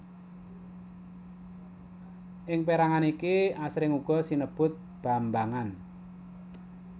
Ing pérangan iki asring uga sinebut bambangan